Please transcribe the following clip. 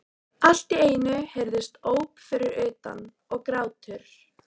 Allt í einu heyrðust óp fyrir utan- og grátur.